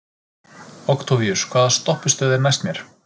Októvíus, hvaða stoppistöð er næst mér?